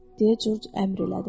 deyə Corc əmr elədi.